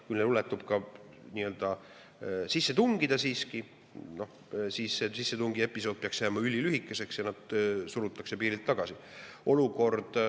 Kui neil õnnestub siiski sisse tungida, siis see sissetungiepisood peaks jääma ülilühikeseks ja nad surutakse piirilt tagasi.